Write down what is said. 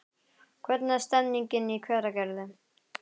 Hvernig er stemningin í Hveragerði?